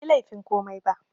Banyi laifin komai ba